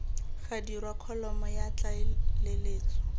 ga dirwa kholomo ya tlaleletso